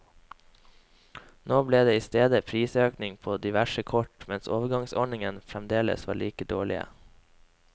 Nå ble det i stedet prisøkninger på diverse kort, mens overgangsordningene fremdeles er like dårlige.